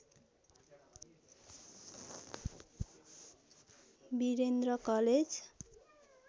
Birendra college